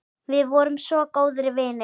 Við vorum svo góðir vinir.